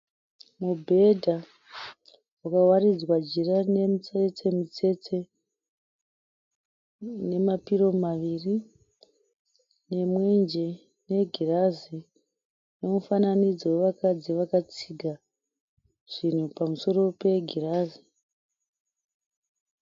Mubhedha wakawaridzwa jira rine mitsetse mitsetse une mapiro maviri nemwenje negirazi nemufananidzo wevakadzi vakatsiga zvinhu pamusoro pegirazi.